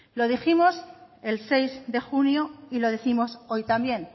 lo dijimos el seis de junio y lo décimos hoy también